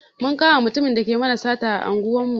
Mun kama mutumin da yake mana sata a unguwar mu.